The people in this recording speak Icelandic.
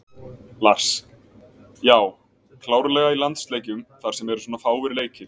Lars: Já, klárlega í landsleikjum þar sem eru svona fáir leikir.